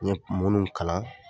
Ɲe mununw kalan